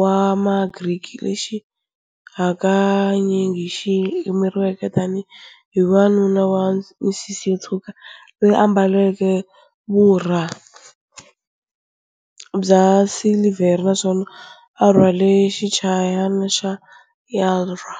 wa Magriki, lexi hakanyingi xi yimeriwaka tanihi wanuna wa misisi yo tshwuka loyi a ambaleke vurha bya silivhere naswona a rhwale xichayachayana xa lyre.